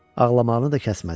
Ağlamağını da kəsmədi.